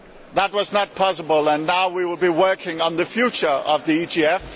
That was not possible, and now we will be working on the future of the EGF.